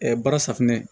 baara safunɛ